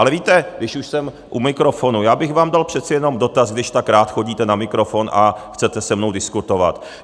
Ale víte, když už jsem u mikrofonu, já bych vám dal přece jenom dotaz, když tak rád chodíte na mikrofon a chcete se mnou diskutovat.